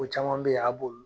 O caman be yen a b'olu